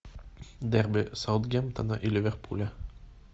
дерби саутгемптона и ливерпуля